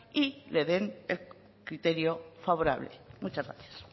y le den el criterio favorable muchas gracias